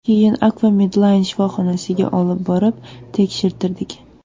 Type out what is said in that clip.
Keyin Akfa Medline shifoxonasiga olib borib tekshirtirdik.